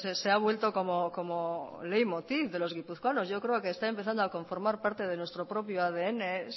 se ha vuelto como leit motiv de los guipuzcoanos yo creo que está empezando a conformar parte de nuestro propio adn